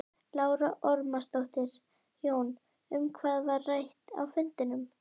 Lára Ómarsdóttir: Jón, um hvað var rætt á fundinum?